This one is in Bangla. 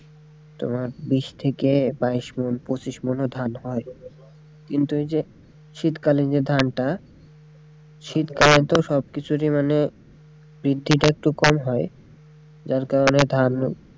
তোমার বিশ থেকে বাইশ ওমন পঁচিশ ওমন ধান চাষ হয় কিন্তু এইযে শীতকালীন যে ধানটা শীতকালে তো সব কিছুরই মানে বৃদ্ধিটা একটু কম হয় যার কারনে ধান,